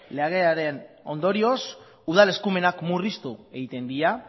legearen ondorioz udal eskumenak murriztu egiten dira